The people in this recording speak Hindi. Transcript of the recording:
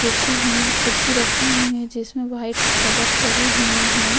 कुर्सी हूँ कुर्सी रखी हुई हैं जिसमें वाइट कवर चढ़े हुए हैं।